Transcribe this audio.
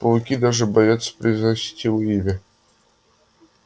пауки даже боятся произносить его имя